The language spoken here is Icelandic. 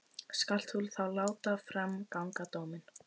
Skalt þú þá láta fram ganga dóminn.